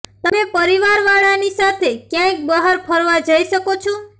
તમે પરિવાર વાળા ની સાથે ક્યાંક બહાર ફરવા જઈ શકો છો